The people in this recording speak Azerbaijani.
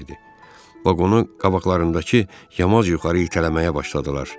Vaqonu qabaqlarındakı yamaz yuxarı itələməyə başladılar.